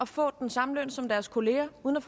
får den samme løn som deres kollegaer uden at